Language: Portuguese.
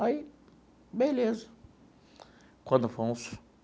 Aí, beleza quando foi uns.